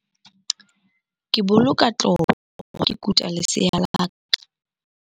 Ke boloka tlopo ha ke kuta lesea la ka.